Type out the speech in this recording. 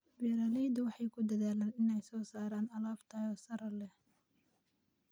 Beeraleydu waxay ku dadaalaan inay soo saaraan alaab tayo sare leh.